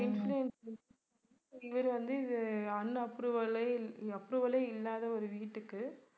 இவர் வந்து இது unapproval லே approval லே இல்லாத ஒரு வீட்டுக்கு